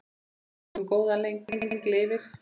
Minning um góðan dreng lifir.